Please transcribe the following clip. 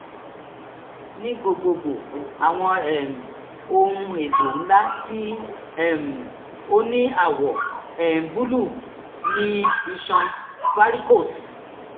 ní gbogbogbò àwọn um ohun-èlò ńlá tí um ó ní àwọ̀ um búlúù ni iṣan varicose